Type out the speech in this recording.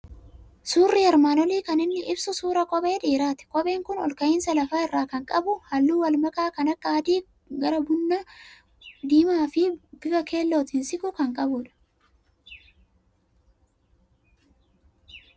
Suurri armaan olii kan inni ibsu suuraa kophee dhiiraati. Kopheen kun ol ka'iinsa lafa irraa kan qabu, halluu wal makaa kan akka adii gara bunaa, diimaa fi bifa keellootti siqu kan qabudha.